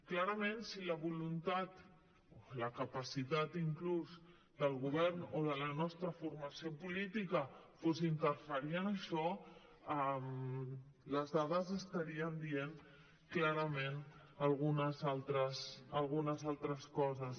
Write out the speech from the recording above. clarament si la voluntat o la capacitat inclús del govern o de la nostra formació política fos interferir en això les dades estarien dient clarament algunes altres coses